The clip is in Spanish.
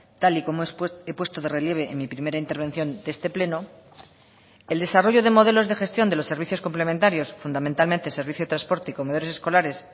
tal y como he puesto de relieve en mi primera intervención de este pleno el desarrollo de modelos de gestión de los servicios complementarios fundamentalmente servicio de transporte y comedores escolares